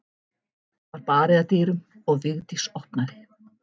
Það var barið að dyrum og Vigdís opnaði.